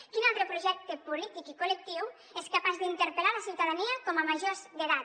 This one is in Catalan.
quin altre projecte polític i col·lectiu és capaç d’interpel·lar la ciutadania com a majors d’edat